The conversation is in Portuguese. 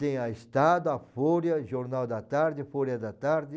Tem a Estado, a Folha, Jornal da Tarde, Folha da Tarde.